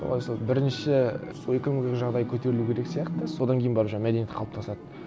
солай сол бірнеше сол экономикалық жағдай көтерілу керек сияқты содан кейін барып мәдениет қалыптасады